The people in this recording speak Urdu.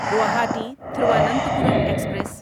گواہاٹی تھیرووننتھاپورم ایکسپریس